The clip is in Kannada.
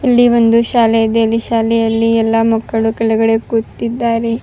ಇಲ್ಲಿ ಒಂದು ಶಾಲೆ ಇದೆ ಅಲ್ಲಿ ಶಾಲೆಯಲ್ಲಿ ಎಲ್ಲ ಮಕ್ಕಳು ಕೆಳಗಡೆ ಕೂತಿದ್ದಾರೆ --